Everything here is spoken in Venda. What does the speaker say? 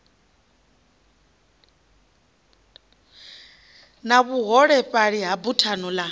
na vhuholefhali ya buthano ḽa